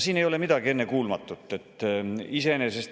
Siin ei ole midagi ennekuulmatut.